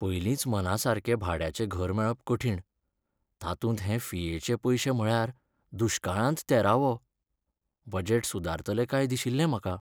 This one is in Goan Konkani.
पयलींच मनासारकें भाड्याचें घर मेळप कठीण, तातूंत हे फियेचे पयशे म्हळ्यार दुश्काळांत तेरावो. बजेट सुदारतलें काय दिशिल्लें म्हाका.